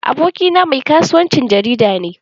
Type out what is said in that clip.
Abokina mai kasuwancin jarida ne.